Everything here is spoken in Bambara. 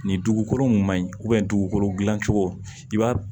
Nin dugukolo in ma ɲi dugukolo dilan cogo i b'a